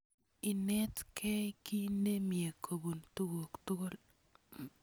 Inetkei ki nemye kopun tukuk tukul.